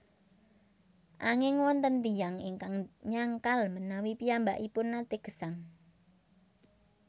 Anging wonten tiyang ingkang nyangkal menawi piyambakipun naté gesang